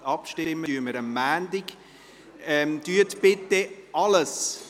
Wir werden am Montag darüber abstimmen.